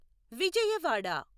Vijayawada